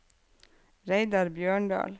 Reidar Bjørndal